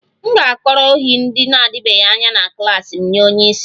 M ga-akọrọ ohi ndị na-adịbeghị anya na klas m nye onye isi